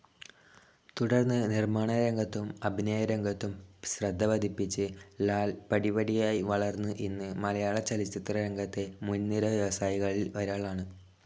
തുടർന്ന് നിർമ്മാണരംഗത്തും അഭിനയരംഗത്തും ശ്രദ്ധപതിപ്പിച്ച് ലാൽ പടിപടിയായി വളർന്ന് ഇന്ന് മലയാളചലച്ചിത്രരംഗത്തെ മുൻനിര വ്യവസായികളിൽ ഒരാളാണ്.